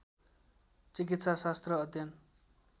चिकित्सा शास्त्र अध्ययन